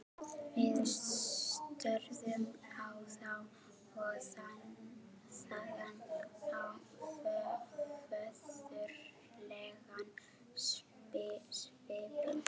Við störðum á þá- og þaðan á föðurlegan svipinn.